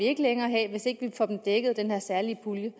ikke længere have hvis ikke de får dem dækket af den her særlige pulje